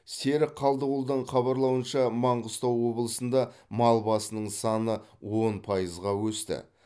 серік қалдығұлдың хабарлауынша маңғыстау облысында мал басының саны он пайызға өсті